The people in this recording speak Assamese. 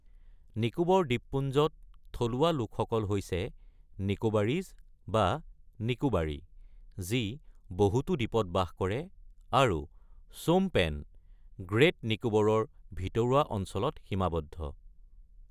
নিকোবৰ দ্বীপপুঞ্জত, থলুৱা লোকসকল হৈছে নিকোবাৰিজ বা নিকোবাৰী, যি বহুতো দ্বীপত বাস কৰে, আৰু শ্বোমপেন- গ্ৰেট নিকোবৰৰ ভিতৰুৱা অঞ্চলত সীমাবদ্ধ।